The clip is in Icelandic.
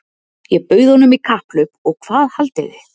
Ég bauð honum í kapphlaup og hvað haldið þið?